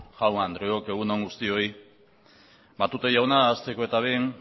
jaun andreok egun on guztioi matute jauna hasteko eta behin